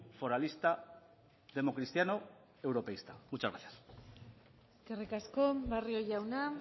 foralista democristiano europeísta muchas gracias eskerrik asko barrio jauna